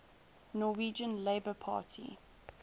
norwegian labour party